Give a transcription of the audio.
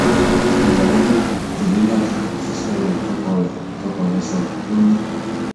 ìyàwó náà jelilat fèsì sọrọ tọkọ rẹ tọkọ rẹ sọ ọ ni